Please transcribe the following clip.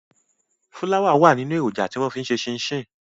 Fúláwà wà nínú èròǹjà tí wọ́n fi ń ṣe ṣínṣìn.